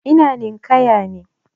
Ina ninƙaya ne.